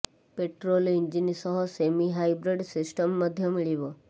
petrol engine ସହ semi hybrid system ମଧ୍ୟ ମିଳିବ